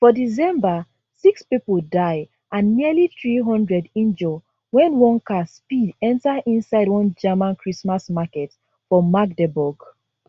for december six pipo die and nearly 300 injure wen one car speed enta inside one german christmas market for magdeburg